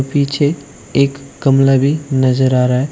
पीछे एक गमला भी नजर आ रहा है।